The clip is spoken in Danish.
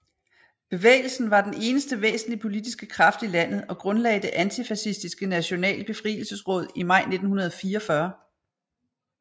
Bevægelsen var den eneste væsentlige politiske kraft i landet og grundlagde Det antifascistiske Nationale Befrielsesråd i maj 1944